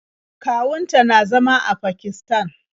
Kawun ta na zama a Pakisatan.